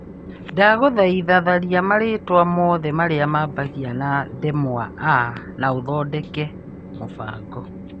Ndagũthaitha tharia marĩtwa mothe marĩa mambagia na ndemwa a na ũthondeke mũbango .